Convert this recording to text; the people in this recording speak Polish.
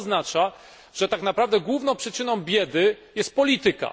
Oznacza to, że tak naprawdę główną przyczyną biedy jest polityka.